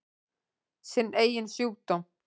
Sinn eigin sjúkdóm.